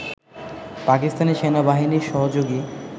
পাকিস্তানি সেনাবাহিনীর সহযোগী